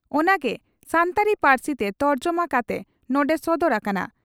ᱚᱱᱟ ᱜᱮ ᱥᱟᱱᱛᱟᱲᱤ ᱯᱟᱹᱨᱥᱤᱛᱮ ᱛᱚᱨᱡᱚᱢᱟ ᱠᱟᱛᱮ ᱱᱚᱰᱮ ᱥᱚᱫᱚᱨ ᱟᱠᱟᱱᱟ ᱾